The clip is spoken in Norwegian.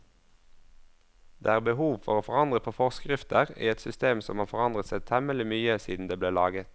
Det er behov for å forandre på forskrifter i et system som har forandret seg temmelig mye siden det ble laget.